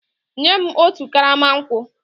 Nye m otu karama nkwụ!